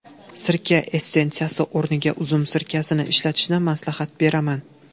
Sirka essensiyasi o‘rniga uzum sirkasini ishlatishni maslahat beraman.